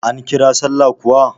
An kira sallah kuwa?